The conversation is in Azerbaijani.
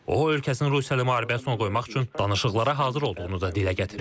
O ölkəsinin Rusiya ilə müharibəsini qoymaq üçün danışıqlara hazır olduğunu da dilə gətirib.